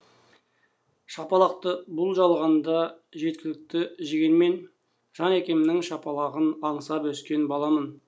шапалақты бұл жалғанда жеткілікті жегенмен жан әкемнің шапалағын аңсап өскен баламын